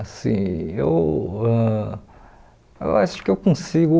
Assim, eu ãh eu acho que eu consigo...